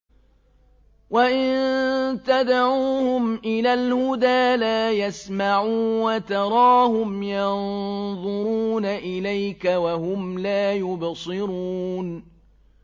وَإِن تَدْعُوهُمْ إِلَى الْهُدَىٰ لَا يَسْمَعُوا ۖ وَتَرَاهُمْ يَنظُرُونَ إِلَيْكَ وَهُمْ لَا يُبْصِرُونَ